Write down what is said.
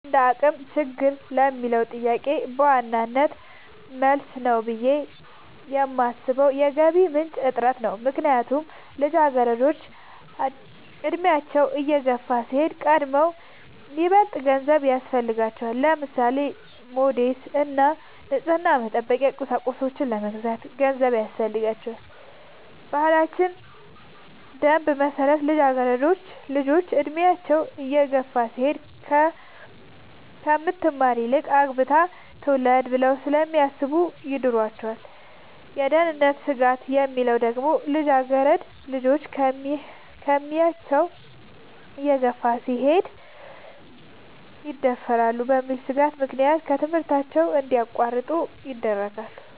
እንደአቅም ችግር ለሚለው ጥያቄ በዋናነት መልስ ነው ብሌ የማሥበው የገቢ ምንጭ እጥረት ነው። ምክንያቱም ልጃገረዶች አድሚያቸው እየገፋ ሲሄድ ከቀድሞው ይበልጥ ገንዘብ ያሥፈልጋቸዋል። ለምሳሌ:-ለሞዴስ እና ንፅህናን መጠበቂያ ቁሳቁሶች ለመግዛት ገንዘብ ያሥፈልጋል። በባህላችን ደንብ መሠረት ልጃገረድ ልጆች እድሚያቸው እየገፋ ሲሄድ ከምትማር ይልቅ አግብታ ትውለድ ብለው ስለሚያሥቡ ይድሯቸዋል። የደህንነት ስጋት የሚለው ደግሞ ልጃገረድ ልጆች አድሚያቸው እየገፋ ሲሄድ ይደፈራሉ በሚል ሥጋት ምክንያት ከትምህርታቸው እንዲያቋርጡ ይደረጋሉ።